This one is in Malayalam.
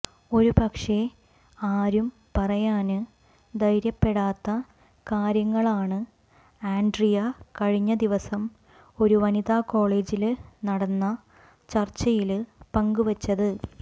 ഒരുപക്ഷേ ആരും പറയാന് ധൈര്യപ്പെടാത്ത കാര്യങ്ങളാണ് ആന്ഡ്രിയ കഴിഞ്ഞ ദിവസം ഒരു വനിത കോളേജില് നടന്ന ചര്ച്ചയില് പങ്കുവച്ചത്